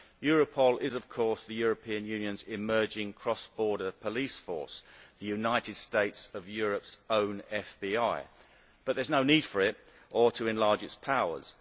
Europol is of course the European Union's emerging cross border police force the United States of Europe's own FBI but there is no need for it, or to enlarge its powers.